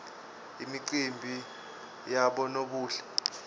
imicimbi yabonobuhle